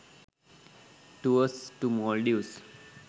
tours to maldives